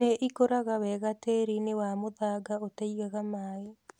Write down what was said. Nĩ ikũraga wega tĩĩri-inĩ wa mũthanga ũtaigaga maĩ.